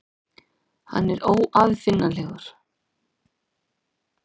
Hann er óaðfinnanlegur.